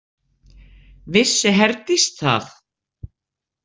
Vissi Herdís það?